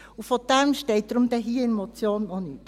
Und davon steht hier in der Motion nichts.